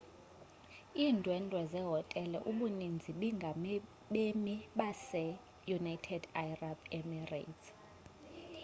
iindwendwe zehostele ubuninzi bingabemi baseunited arab emirates